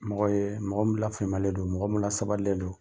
Mɔgɔ ye mɔgɔ min lafaamuyalen don mɔgɔ min lasabalilen don.